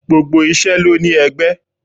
Gbogbo isẹ ló ní ẹgbẹ́.